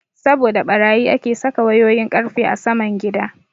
Saboda ɓarayi ake saka wayoyin ƙarfe a saman gida.